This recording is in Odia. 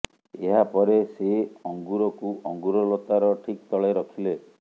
ଏହାପରେ ସେ ଅଙ୍ଗୁରକୁ ଅଙ୍ଗୁର ଲତାର ଠିକ୍ ତଳେ ରଖିଲେ